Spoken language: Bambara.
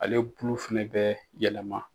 Ale bulu fana bɛ yɛlɛma